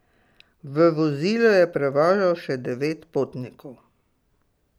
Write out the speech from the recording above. V vozilu je prevažal še devet potnikov.